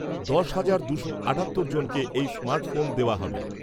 দশ হাজার দুশো আটাত্তর জনকে এই স্মার্ট ফোন দেওয়া হবে।